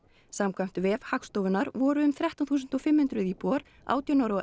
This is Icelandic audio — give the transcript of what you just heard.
samkvæmt vef Hagstofunnar voru um þrettán þúsund og fimm hundruð íbúar átján ára og